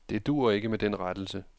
Det duer ikke med den rettelse.